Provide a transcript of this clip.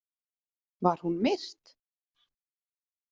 Var hún myrt?